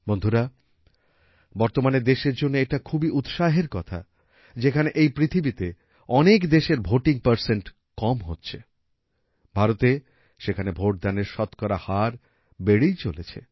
বন্ধুরা বর্তমানে দেশের জন্য এটা খুবই উৎসাহের কথা যেখানে এই পৃথিবীতে অনেক দেশের ভোটিং পারসেন্ট কম হচ্ছে ভারতে সেখানে ভোট দানের শতকরা হার বেড়েই চলেছে